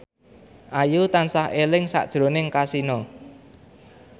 Ayu tansah eling sakjroning Kasino